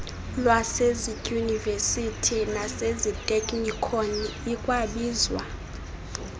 lwasezidyunivesithi naseziteknikoni ikwabizwa